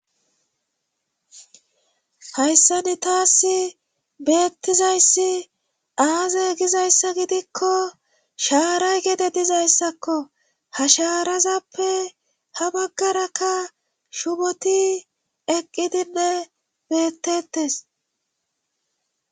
Hayssani taassi bettizayssi aaze gizayssa gidikko shaaray gede dizayssakko ha sharazappe ha baggarakka shuboti eqqidinne beettetes.